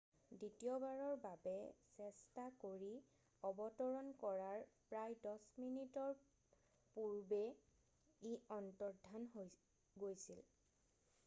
দ্বিতীয়বাৰৰ বাবে চেষ্টা কৰি অৱতৰন কৰাৰ প্ৰায় 10 মিনিটৰ পূৰ্বে ই অন্তৰ্ধান হৈ গৈছিল